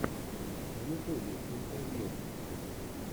в ютубе интервью